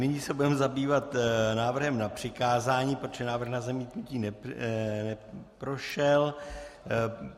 Nyní se budeme zabývat návrhem na přikázání, protože návrh na zamítnutí neprošel.